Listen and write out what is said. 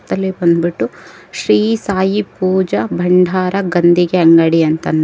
ಇದು ಬಂದ್ಬಿಟ್ಟು ಶ್ರೀ ಸಾಯಿ ಪೂಜಾ ಬಂಡಾರ ಗಂದಿಗೆ ಅಂಗಡಿ ಅಂತ್--